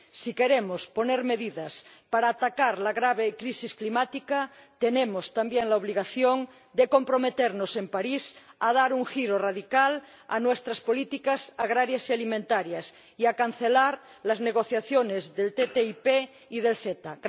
Si queremos poner medidas para atacar la grave crisis climática, tenemos también la obligación de comprometernos en París a dar un giro radical a nuestras políticas agrarias y alimentarias y a cancelar las negociaciones del TTIP y del CETA.